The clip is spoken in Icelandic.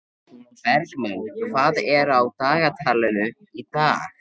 Bergmann, hvað er á dagatalinu í dag?